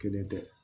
Kelen tɛ